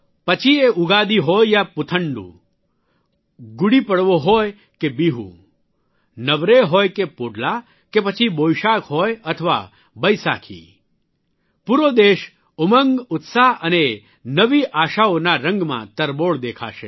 પછી એ ઉગાદી હોય યા પુથંડૂ ગુડી પડવો હોય કે બીહુ નવરેહ હોય કે પોડલા કે પછી બોઇશાખ હોય અથવા બૈસાખી પૂરો દેશ ઉમંગ ઉત્સાહ અને નવી આશાઓના રંગમાં તરબોળ દેખાશે